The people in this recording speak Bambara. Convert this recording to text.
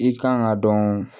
I kan ka dɔn